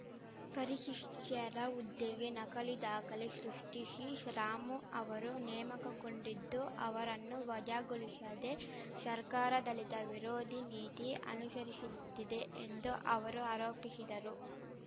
ಪರಿಶಿಷ್ಟರ ಹುದ್ದೆಗೆ ನಕಲಿ ದಾಖಲೆ ಶೃಷ್ಠಿಶಿ ರಾಮು ಅವರು ನೇಮಕಗೊಂಡಿದ್ದು ಅವರನ್ನು ವಜಾಗೊಳಿಶದೆ ಶರ್ಕಾರ ದಲಿತ ವಿರೋಧಿ ನೀತಿ ಅನುಶರಿಶುತ್ತಿದೆ ಎಂದು ಅವರು ಆರೋಪಿಶಿದರು